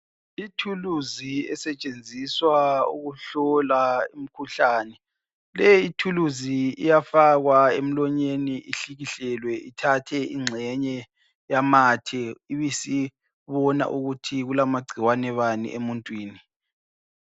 Ithuluzi esetshenziswa ukuhlola imikhuhlane lethuluzi iyafakwa emlonyeni ihlikihlelwe ithathe ingxenye yamathe ibisibona ukuthi kulamagcikwane bani emuntwini.